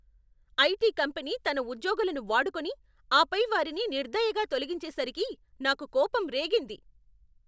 IT company తన ఉద్యోగులను వాడుకొని, ఆపై వారిని నిర్దయగా తొలగించేసరికి నాకు కోపం రేగింది.